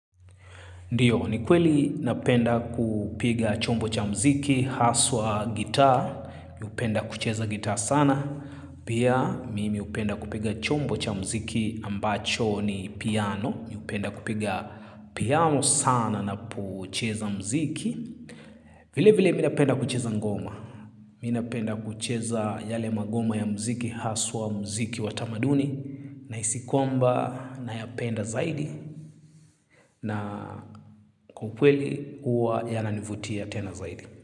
Ndiyo, ni kweli napenda kupiga chombo cha muziki, haswa gita, ni hupenda kucheza gita sana. Pia, mimi hupenda kupiga chombo cha muziki ambacho ni piano, ni hupenda kupiga piano sana na pocheza muziki. Vile vile, minapenda kucheza ngoma. Minapenda kucheza yale magoma ya mziki, haswa muziki watamaduni, nahisikwamba, na yapenda zaidi. Na kukweli huwa yananivutia tena zaidi.